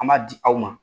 An b'a di aw ma